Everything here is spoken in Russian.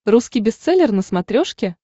русский бестселлер на смотрешке